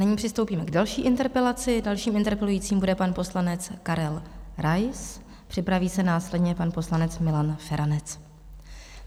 Nyní přistoupíme k další interpelaci, dalším interpelujícím bude pan poslanec Karel Rais, připraví se následně pan poslanec Milan Feranec.